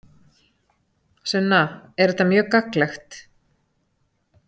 Sunna: Er þetta mjög gagnlegt?